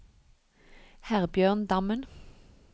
Herbjørn Dammen